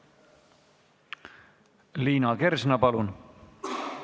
Liina Kersna, palun!